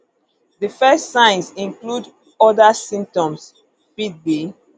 di first signs include oda symptoms fit be